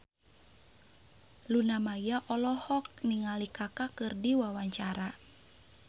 Luna Maya olohok ningali Kaka keur diwawancara